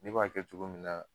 Ne b'a kɛ cogo min na